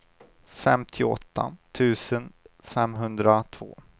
femtioåtta tusen femhundratvå